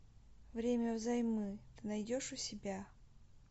время взаймы ты найдешь у себя